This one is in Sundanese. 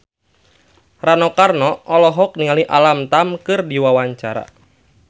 Rano Karno olohok ningali Alam Tam keur diwawancara